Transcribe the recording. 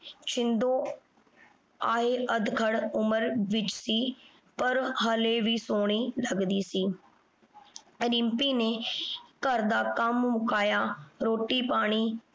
ਛਿੰਦੋ ਅੱਧਖੜ ਉਮਰ ਵਿਚ ਸੀ ਪਰ ਹਾਲੇ ਵੀ ਸੋਹਣੀ ਲੱਗਦੀ ਸੀ। ਰਿੰਪੀ ਨੇ ਘਰ ਦਾ ਕੰਮ ਮੁਕਾਇਆ, ਰੋਟੀ ਪਾਣੀ